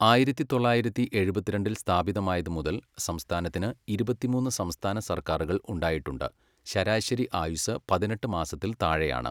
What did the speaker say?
ആയിരത്തി തൊള്ളായിരത്തി എഴുപത്തിരണ്ടിൽ സ്ഥാപിതമായതു മുതൽ സംസ്ഥാനത്തിന് ഇരുപത്തിമൂന്ന് സംസ്ഥാന സർക്കാരുകൾ ഉണ്ടായിട്ടുണ്ട്, ശരാശരി ആയുസ്സ് പതിനെട്ട് മാസത്തിൽ താഴെയാണ്.